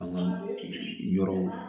An ka yɔrɔ